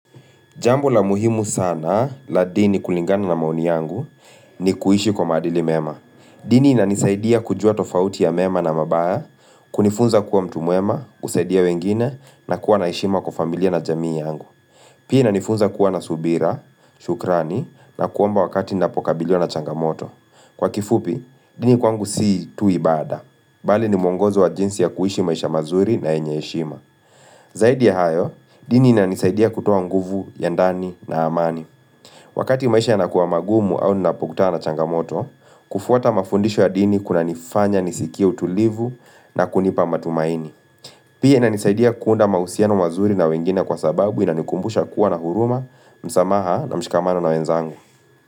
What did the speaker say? Jambo la muhimu sana la dini kulingana na maoni yangu ni kuishi kwa maadili mema. Dini inanisaidia kujua tofauti ya mema na mabaya, kunifunza kuwa mtu mwema, kusaidia wengine na kuwa na heshima kwa familia na jamii yangu. Pia inanifunza kuwa na subira, shukrani na kuomba wakati napokabiliwa na changamoto. Kwa kifupi, dini kwangu si tu ibada. Bali ni mwongozo wa jinsi ya kuishi maisha mazuri na yenye heshima. Zaidi ya hayo, dini inanisaidia kutoa nguvu, ya ndani na amani. Wakati maisha yanakuwa magumu au ninapokutana na changamoto, kufuata mafundisho ya dini kunanifanya nisikie utulivu na kunipa matumaini. Pia inanisaidia kuunda mahusiano mazuri na wengine kwa sababu inanikumbusha kuwa na huruma, msamaha na mshikamano na wenzangu.